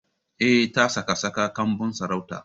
Eh, ta saka saka kanbun sarautar.